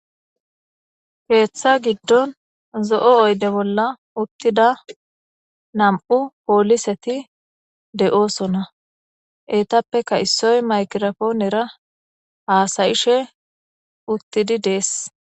keeththa giddon zo7o oyde bolla uttida nam7u pooliseti de7oosona eetappeka issoy maykirafoonera haasayishe uttidi dees